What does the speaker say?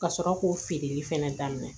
Ka sɔrɔ k'o feereli fɛnɛ daminɛ